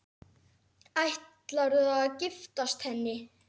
Ætlarðu að giftast henni?